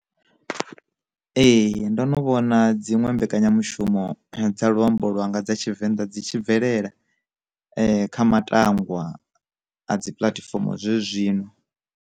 Ee, ndo no vhona dziṅwe mbekanyamushumo dza luambo lwanga dza tshivenḓa dzi tshi bvelela kha matangwa a dzi puḽatifomo zwe zwino.